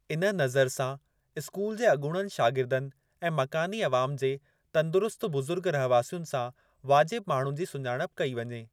इन नज़र सां स्कूल जे अॻूणनि शागिर्दनि ऐं मकानी अवाम जे तंदुरुस्त बुजु़र्ग रहवासियुनि सां वाजिब माण्हुनि जी सुञाणप कई वञे।